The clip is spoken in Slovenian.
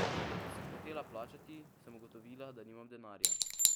Ko sem hotela plačati, sem ugotovila, da nimam denarja.